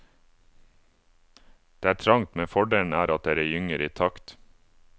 Det er trangt, men fordelen er at dere gynger i takt.